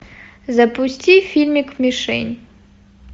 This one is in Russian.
запусти фильмик мишень